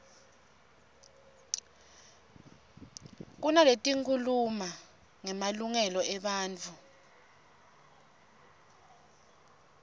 kunaletikhuluma ngemalungelo ebantfu